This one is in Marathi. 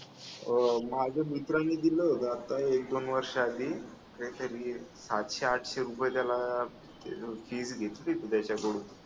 अह माझ्या मित्राने दिलं होतं आता एक-दोन वर्षाआधी त्याच्या आधी मी हे सातशे आठशे रुपये त्याला नोटीस घेतली होती त्याच्याकडून